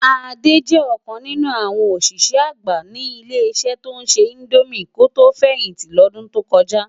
Ade jè okàn ninú áwòn oṣiṣẹ ágbá ni ile-iṣẹ tó nṣè indómi kó tó fẹhinti lòdún tó kòjá